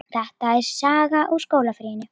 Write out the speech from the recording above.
Þetta er saga úr skólalífinu.